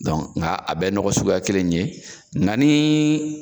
Dɔn nga a bɛɛ nɔgɔ suguya kelen in ye nga ni